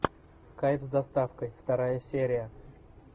кайф с доставкой вторая серия